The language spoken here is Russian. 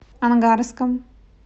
ангарском